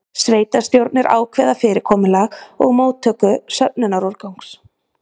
Sveitarstjórnir ákveða fyrirkomulag móttöku og söfnunar úrgangs.